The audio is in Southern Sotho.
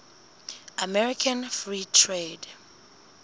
american free trade